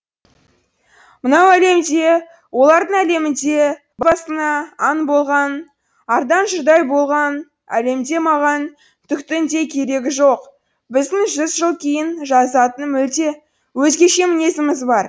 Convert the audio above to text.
мынау әлемде олардың әлемінде басына аң болған ардан жұрдай болған әлемде маған түктің де керегі жоқ біздің жүз жыл кейін жазатын мүлде өзгеше мінезіміз бар